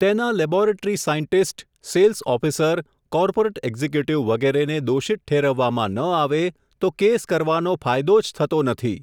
તેના laboratory scientist, sales officer, corporate executive વગેરેને દોષિત ઠેરવવામાં ન આવે, તો કેસ કરવાનો ફાયદો જ થતો નથી.